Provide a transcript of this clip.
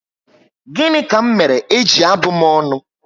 Gịnị ka m mèrè gị eji abụ m ọnụ?